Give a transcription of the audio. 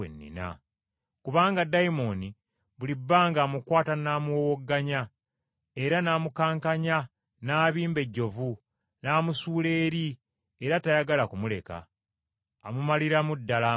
Kubanga ddayimooni buli bbanga amukwata n’amuwowogganya, era n’amukankanya n’abimba ejjovu n’amusuula eri era tayagala kumuleka, amumaliramu ddala amaanyi.